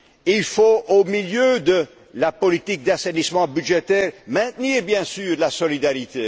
connaît. Il faut, au milieu de la politique d'assainissement budgétaire, maintenir bien sûr la solidarité.